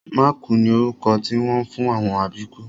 Mákùú ni orúkọ tí wọ́n ń fún àwọn àbíkú